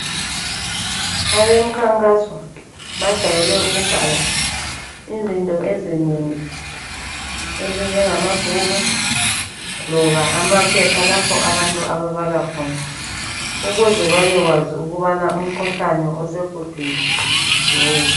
Abemkhankaso bajeyele ukubhala izinto ezinengi ezinjengama bhuku loba amaphepha lapho abantu ababala khona ukuze babekwazi ukubana umkhuhlane osegudwini yiwuphi.